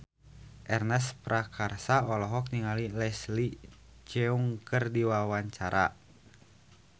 Ernest Prakasa olohok ningali Leslie Cheung keur diwawancara